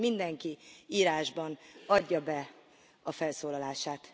Kérem, hogy mindenki írásban adja be a felszólalását.